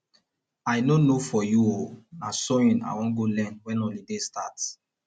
i no know for you oo na sewing i wan go learn wen holiday start